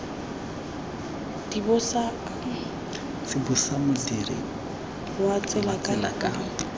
tsibosa modirisi wa tsela ka